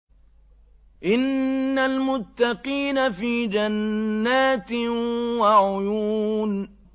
إِنَّ الْمُتَّقِينَ فِي جَنَّاتٍ وَعُيُونٍ